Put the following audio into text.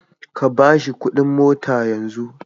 Ka ba shi kuɗin motar yanzu.